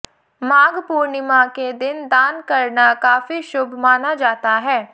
माघ पूर्णिमा के दिन दान करना काफी शुभ माना जाता है